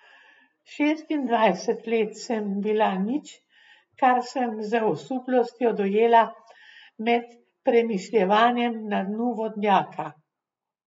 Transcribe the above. Šestindvajset let sem bila nič, kar sem z osuplostjo dojela med premišljevanjem na dnu vodnjaka.